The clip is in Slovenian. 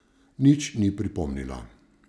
Nič ni pripomnila.